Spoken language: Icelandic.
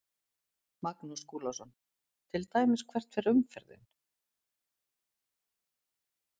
Magnús Skúlason: Til dæmis hvert fer umferðin?